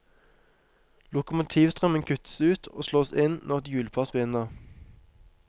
Lokomotivstrømmen kuttes ut og slås inn når et hjulpar spinner.